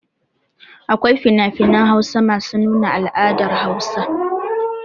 Akwai finafinan Hausa masu nuna al'adar Hausawa.